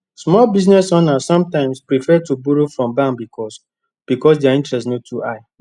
small business owners sometimes prefer to borrow from bank because because their interest no too high